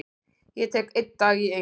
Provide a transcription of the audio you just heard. Ég tek einn dag í einu.